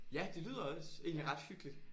Ja det lyder også egentlig ret hyggeligt